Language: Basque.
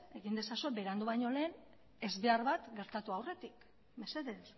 egin ezazue berandu baino lehen ezbehar bat gertatu aurretik mesedez